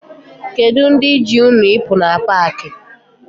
Kedu ndị ji unu ịpụ na paakị?